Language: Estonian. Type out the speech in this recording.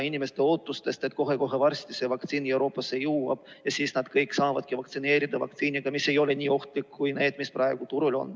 Inimestel on ootus, et kohe varsti jõuab see vaktsiin Euroopasse ja siis nad kõik saavadki vaktsineerida vaktsiiniga, mis ei ole nii ohtlik kui need, mis praegu on turul.